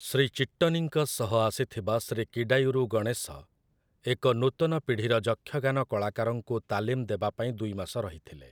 ଶ୍ରୀ ଚିଟ୍ଟନୀଙ୍କ ସହ ଆସିଥିବା ଶ୍ରୀ କିଡାୟୁରୁ ଗଣେଶ, ଏକ ନୂତନ ପିଢ଼ିର ଯକ୍ଷଗାନ କଳାକାରଙ୍କୁ ତାଲିମ ଦେବା ପାଇଁ ଦୁଇ ମାସ ରହିଥିଲେ ।